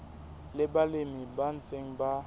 le balemi ba ntseng ba